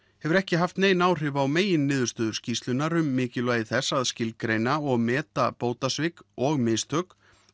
hefur ekki haft nein áhrif á meginniðurstöður skýrslunnar um mikilvægi þess að skilgreina og meta bótasvik og mistök